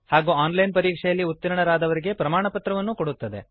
ಹಾಗೂ online ಪರೀಕ್ಷೆಯಲ್ಲಿ ಉತ್ತೀರ್ಣರಾದವರಿಗೆ ಪ್ರಮಾಣಪತ್ರವನ್ನು ಕೊಡುತ್ತದೆ